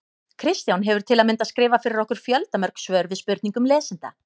Kristján hefur til að mynda skrifað fyrir okkur fjöldamörg svör við spurningum lesenda.